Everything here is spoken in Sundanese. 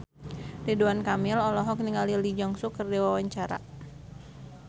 Ridwan Kamil olohok ningali Lee Jeong Suk keur diwawancara